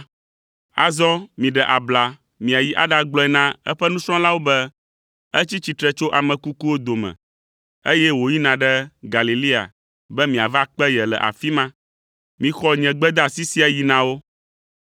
Azɔ miɖe abla miayi aɖagblɔe na eƒe nusrɔ̃lawo be etsi tsitre tso ame kukuwo dome, eye wòyina ɖe Galilea be miava kpe ye le afi ma. Mixɔ nye gbedeasi sia yi na wo.”